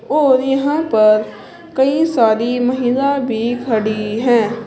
और यहां पर कई सारी महिला भी खड़ी हैं।